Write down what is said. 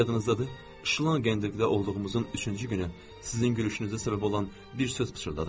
Yadınızdadır, Şlank Enndrikdə olduğumuzun üçüncü günü sizin gülüşünüzə səbəb olan bir söz pıçıldadın.